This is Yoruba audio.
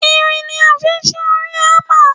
Irin ni a fi ṣe orí Hámà.